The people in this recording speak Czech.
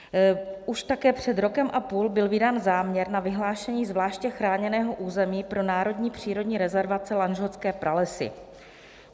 Už také před rokem a půl byl vydán záměr na vyhlášení zvláště chráněného území pro národní přírodní rezervaci Lanžhotské pralesy.